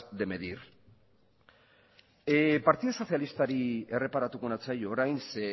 de medir partidu sozialistari erreparatuko natzaio orain ze